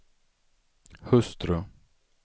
hustru